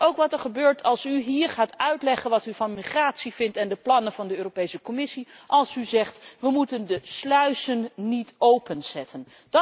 Dat is ook wat er gebeurt als u hier gaat uitleggen wat u van migratie en van de plannen van de Europese Commissie vindt. Als u zegt we moeten de sluizen niet openzetten.